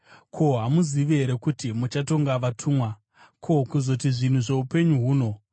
Ko, hamuzivi here kuti muchatonga vatumwa? Ko, kuzoti zvinhu zvoupenyu huno!